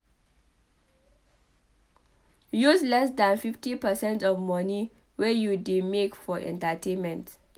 Use less than 50 percent of money wey you dey make for entertainment